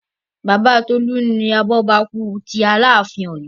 Bàbá Tolu ni abọ́bakú tí Aláàfin Oyo